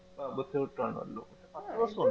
ആ ബുദ്ധിമുട്ടാണല്ലോ പത്തുദിവസം